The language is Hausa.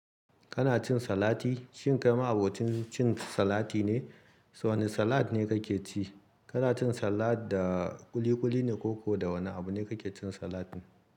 Kana cin salati? Shin kai ma'abocin cin salati ne? Wane salad ne ka ke ci? Kana cin salad da ƙuliƙuli ne ko ko da wane abu ne kake cin salatin?